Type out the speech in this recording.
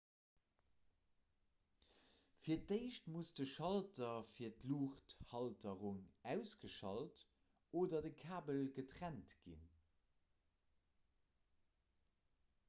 fir d'éischt muss de schalter fir d'luuchthalterung ausgeschalt oder de kabel getrennt ginn